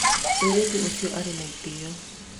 mũirĩtu ũcio arĩ na itĩo